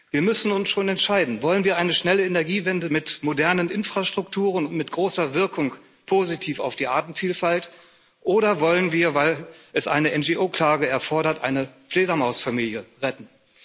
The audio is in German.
Wir müssen uns schon entscheiden Wollen wir eine schnelle Energiewende mit modernen Infrastrukturen, mit großer Wirkung, positiv für die Artenvielfalt, oder wollen wir weil eine NGO-Klage es erfordert eine Fledermausfamilie retten?